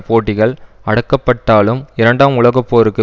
போட்டிகள் அடக்கப்பட்டாலும் இரண்டாம் உலக போருக்கு